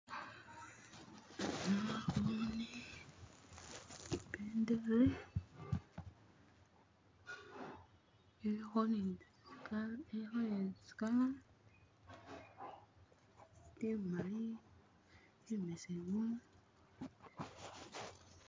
Naboone Ibendele iliho ne tsi Kala, Imali, imbesemu